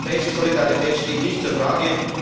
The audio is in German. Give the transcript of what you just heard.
Die europäische Solidarität steht nicht in Frage.